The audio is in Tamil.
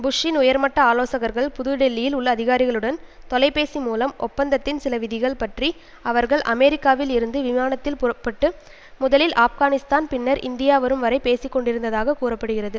புஷ்ஷின் உயர்மட்ட ஆலோசகர்கள் புது டெல்லியில் உள்ள அதிகாரிகளுடன் தொலைபேசி மூலம் ஒப்பந்ததத்தின் சில விதிகள் பற்றி அவர்கள் அமெரிக்காவில் இருந்து விமானத்தில் புறப்பட்டு முதலில் ஆப்கானிஸ்தான் பின்னர் இந்தியா வரும் வரை பேசி கொண்டிருந்ததாக கூற படுகிறது